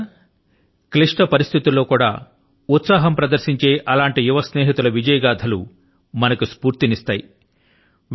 మిత్రులారా క్లిష్ట పరిస్థితుల లో కూడా ఉత్సాహం ప్రదర్శించే అలాంటి యువ స్నేహితుల విజయ గాథ లు మనకు స్ఫూర్తిని ఇస్తాయి